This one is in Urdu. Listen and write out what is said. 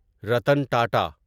رتن ٹاٹا